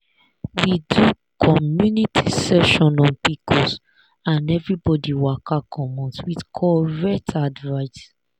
we do community session on pcos and everybody waka commot with correct advice.